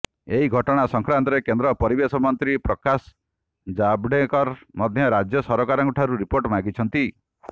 ଏହି ଘଟଣା ସଂକ୍ରାନ୍ତରେ କେନ୍ଦ୍ର ପରିବେଶ ମନ୍ତ୍ରୀ ପ୍ରକାଶ ଜାଭଡ଼େକର ମଧ୍ୟ ରାଜ୍ୟ ସରକାରଙ୍କଠାରୁ ରିପୋର୍ଟ ମାଗିଛନ୍ତି